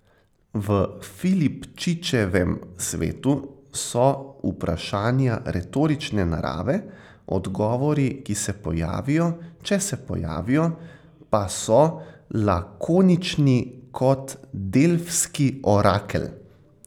V Filipčičevem svetu so vprašanja retorične narave, odgovori, ki se pojavijo, če se pojavijo, pa so lakonični kot delfski orakelj.